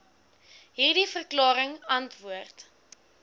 hierdie verklaring antwoord